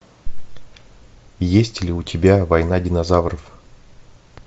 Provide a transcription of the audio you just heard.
есть ли у тебя война динозавров